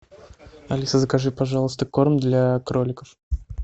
алиса закажи пожалуйста корм для кроликов